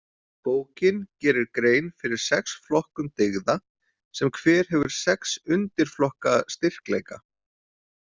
Bókin gerir grein fyrir sex flokkum dyggða sem hver hefur sex undirflokka styrkleika.